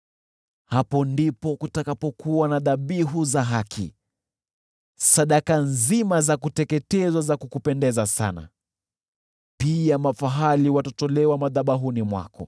Hapo ndipo kutakapokuwa na dhabihu za haki, sadaka nzima za kuteketezwa za kukupendeza sana, pia mafahali watatolewa madhabahuni mwako.